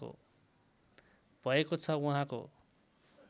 भएको छ उहाँको